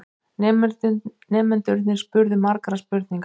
Nemendurnir spurðu margra spurninga.